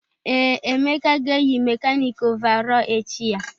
Ee, Emeka ga-eyi mekanịkị ọvarọọr echi ya.